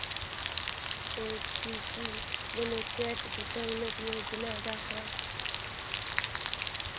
ACC limited गुंतवणूक योजना दाखव